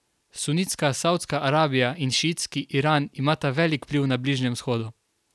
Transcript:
Sunitska Savdska Arabija in šiitski Iran imata velik vpliv na Bližnjem vzhodu.